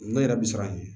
Ne yɛrɛ bi siran ɲɛ